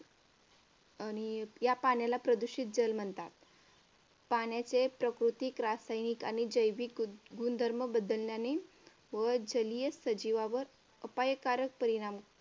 आणि या पाण्याला प्रदूषित जल म्हणतात. पाण्याचे प्राकृतिक रासायनिक आणि जैविक गुणधर्म बदलल्याने व जलीय सजीवावर अपायकारक परिणाम